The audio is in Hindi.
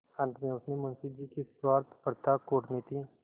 अंत में उसने मुंशी जी की स्वार्थपरता कूटनीति